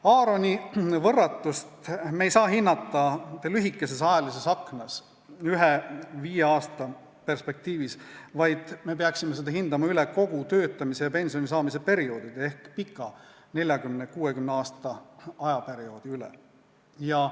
Aaroni võrratust ei saa me hinnata lühikeses ajalises aknas, viie aasta perspektiivis, vaid me peaksime seda hindama kogu töötamise ja pensionisaamise perioodi ehk pika, 40–60-aastase perioodi ulatuses.